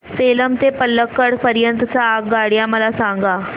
सेलम ते पल्लकड पर्यंत च्या आगगाड्या मला सांगा